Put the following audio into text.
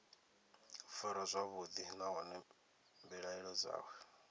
farwa zwavhuḓi nahone mbilaelo dzawe